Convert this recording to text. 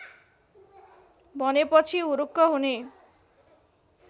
भनेपछि हुरुक्क हुने